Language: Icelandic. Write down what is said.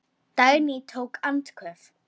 Dagný tók andköf.